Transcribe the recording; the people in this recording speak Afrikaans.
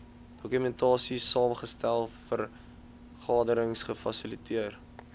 dokumentasiesaamgestel vergaderings gefasiliteer